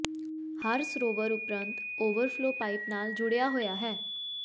ਹਰ ਸਰੋਵਰ ਉਪਰੰਤ overflow pipe ਨਾਲ ਜੁੜਿਆ ਹੋਇਆ ਹੈ